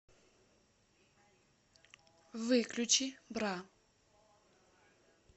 выключи бра